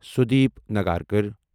Sudeep Nagarkar